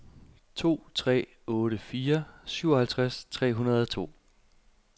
to tre otte fire syvoghalvtreds tre hundrede og to